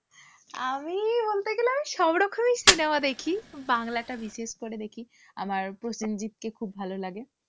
আমি বলতো গেলে আমি সব রকমই cinema দেখি বাংলাটা বিশেষ করে দেখি আমার প্রসেনজিৎ কে খুব ভালো লাগে,